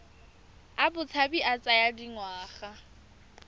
a botshabi a tsaya dingwaga